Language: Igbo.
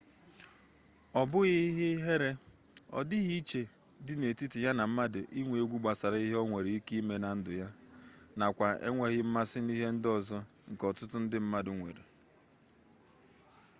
ọ bụghị ihe ihere ọ dịghị iche dị n'etiti ya na mmadụ inwe egwu gbasara ihe nwere ike ime na ndụ ya nakwa enweghi mmasị n'ihe ndị ọzọ nke ọtụtụ mmadụ nwere